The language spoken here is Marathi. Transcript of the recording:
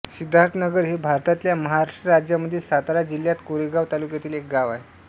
सिद्धार्थनगर हे भारतातल्या महाराष्ट्र राज्यामधील सातारा जिल्ह्यात कोरेगाव तालुक्यातील एक गाव आहे